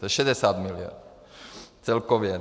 To je 60 miliard celkově.